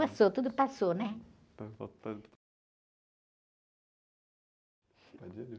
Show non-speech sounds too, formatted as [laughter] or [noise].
Passou, tudo passou, né? [unintelligible]